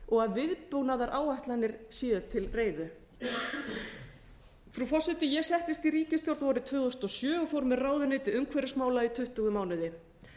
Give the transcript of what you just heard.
og viðbúnaðaráætlanir séu til reiðu frú forseti ég settist í ríkisstjórn vorið tvö þúsund og sjö og fór með ráðuneyti umhverfismála í tuttugu mánuði